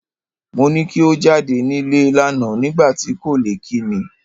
Mo ni ko jáde nílé lánàá nígbà tí ò kò lè kí mi.